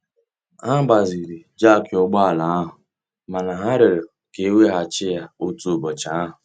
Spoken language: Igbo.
Ha gbaziri jakị ụgbọ ala ahụ mana ha rịọrọ ka e weghachi ya otu ụbọchị ahụ.